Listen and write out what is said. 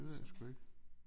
Det ved jeg sgu ikke